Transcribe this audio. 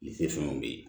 Ni tɛ fɛnw bɛ ye